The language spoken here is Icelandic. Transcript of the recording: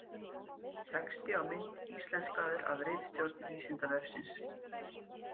Texti á mynd íslenskaður af ritstjórn Vísindavefsins.